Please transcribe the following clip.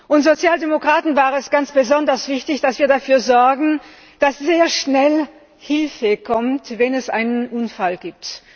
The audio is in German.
Uns Sozialdemokraten war es ganz besonders wichtig, dass wir dafür sorgen, dass sehr schnell Hilfe kommt, wenn es einen Unfall gibt.